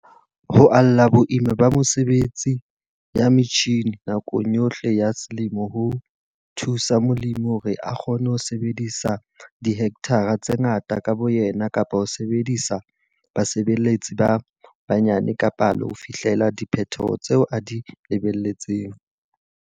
Ho ala boima ba mesebetsi ya metjhine nakong yohle ya selemo ho thusa molemi hore a kgone ho sebetsa dihekthara tse ngata ka boyena kapa ho sebedisa basebeletsi ba banyane ka palo ho fihlella diphetho tseo a di lebelletseng.